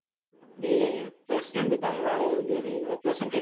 டேய் president க்கு அங்க வேலையே இருக்காது. representat~